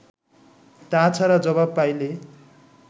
তা ছাড়া জবাব পাইলে